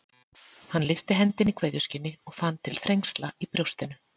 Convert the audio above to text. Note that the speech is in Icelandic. Hann lyfti hendinni í kveðjuskyni og fann til þrengsla í brjóstinu.